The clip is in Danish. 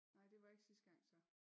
Nej det var ikke sidste gang så